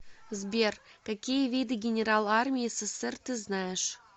сбер какие виды генерал армии ссср ты знаешь